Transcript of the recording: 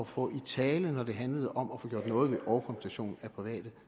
få i tale når det handlede om at få gjort noget ved overkompensation af private